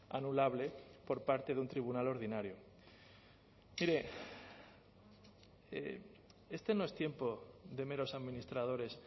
anulable por parte de un tribunal ordinario mire este no es tiempo de meros administradores